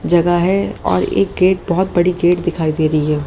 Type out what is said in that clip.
जगह है और एक गेट बहोत बड़ी गेट दिखाई दे रही है।